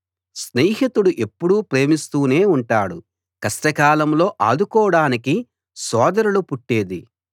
స్నేహితుడు ఎప్పుడూ ప్రేమిస్తూనే ఉంటాడు కష్టకాలంలో ఆదుకోడానికే సోదరులు పుట్టేది